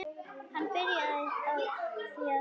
Hann byrjaði því að selja.